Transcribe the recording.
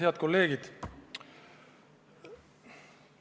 Head kolleegid!